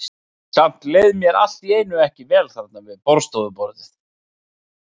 Samt leið mér allt í einu ekki vel þarna við borðstofuborðið.